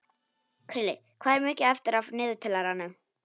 Krilli, hvað er mikið eftir af niðurteljaranum?